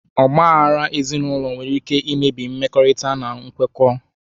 Ọgba aghara ezinụlọ nwere ike imebi mmekọrịta na nkwekọ.